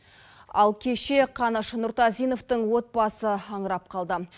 ал кеше қаныш нұртазиновтың отбасы аңырап қалды